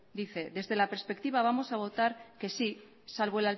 dice desde la perspectiva vamos a votar que sí salvo